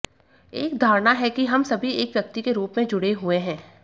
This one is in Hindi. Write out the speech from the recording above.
एक धारणा है कि हम सभी एक व्यक्ति के रूप में जुड़े हुए हैं